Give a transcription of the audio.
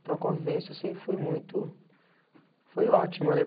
Então a convivência sempre foi muito... Foi ótima, né?